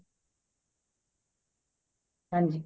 ਹਾਂਜੀ